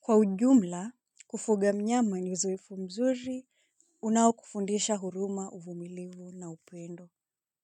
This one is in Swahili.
kwa ujumla kufuga mnyama ni uzoefu mzuri unaokufundisha huruma, uvumilivu na upendo.